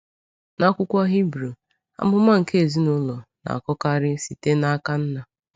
N’akwụkwọ Hebrew, amụma nke ezinụlọ na-akọkarị site n’aka nna.